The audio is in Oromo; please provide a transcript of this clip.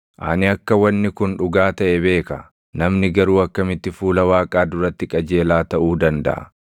“Ani akka wanni kun dhugaa taʼe beeka. Namni garuu akkamitti fuula Waaqaa duratti qajeelaa taʼuu dandaʼa?